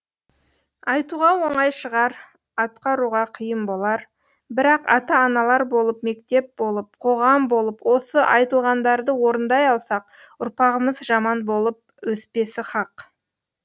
айтуға оңай шығар атқаруға қиын болар бірақ ата аналар болып мектеп болып қоғам болып осы айтылғандарды орындай алсақ ұрпағымыз жаман болып өспесі хақ